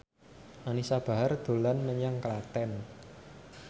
Anisa Bahar dolan menyang Klaten